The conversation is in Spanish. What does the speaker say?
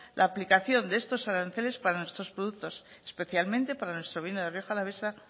la aplicación de estos aranceles para nuestros productos especialmente para nuestro vino de rioja alavesa